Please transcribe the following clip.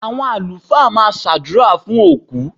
Àwọn Alfa máa ṣàdúrà fún òkú.